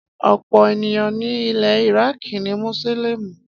Ọ̀pọ̀ èèyàn ni ilẹ̀ Iraaki ni Mùsùlùmí